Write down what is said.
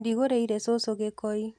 Ndĩgũrĩire cũcũ gĩkoi.